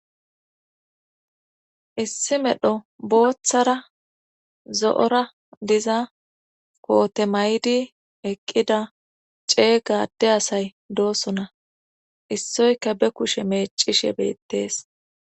issi medho booththara zo7ora diza koote maydi eqqida cee gade asay doosona issoyka be kushe meecishe beettees